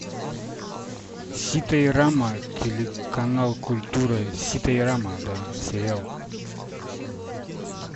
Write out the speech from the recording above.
сита и рама телеканал культура сита и рама да сериал